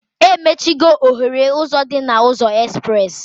Emechigo oghere ụzọ dị na ụzọ espres